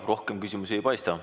Rohkem küsimusi ei paista.